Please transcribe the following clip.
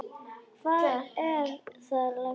Hvað er það, lagsi?